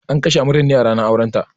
An kashe amaryar ne a ranar auren ta